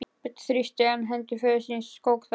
Björn þrýsti enn hendur föður síns og skók þær.